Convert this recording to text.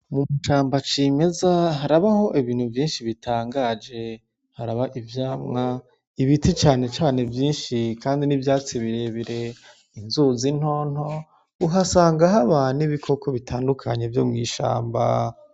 Mw'ishamba cimeza harabaho ibintu vyinshi bitangaje, haraba ivyamwa ibiti cane cane vyinshi kandi n'ivyatsi birebire, inzuzi nto nto uhasanga haba n'ibokoko bitandukanye vyo mw'ishamba.